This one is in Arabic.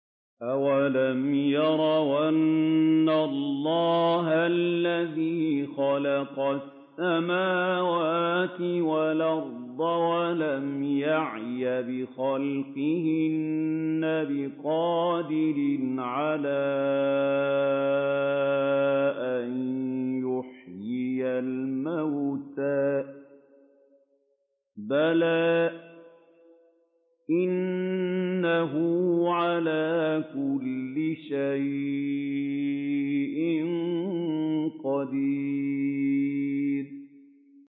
أَوَلَمْ يَرَوْا أَنَّ اللَّهَ الَّذِي خَلَقَ السَّمَاوَاتِ وَالْأَرْضَ وَلَمْ يَعْيَ بِخَلْقِهِنَّ بِقَادِرٍ عَلَىٰ أَن يُحْيِيَ الْمَوْتَىٰ ۚ بَلَىٰ إِنَّهُ عَلَىٰ كُلِّ شَيْءٍ قَدِيرٌ